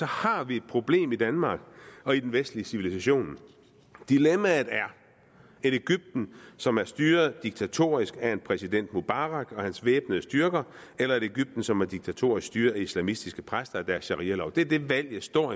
har vi et problem i danmark og i den vestlige civilisation dilemmaet er et egypten som er styret diktatorisk af en præsident mubarak og hans væbnede styrker eller et egypten som er diktatorisk styret af islamistiske præster og deres sharialov det er det valget står